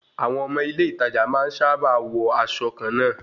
Àwọn ọmọ ilé ìtajà máa ń sábà wọ aṣọ kàn náà